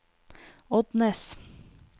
Odnes